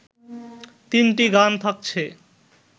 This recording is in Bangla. তিনটি গান থাকছে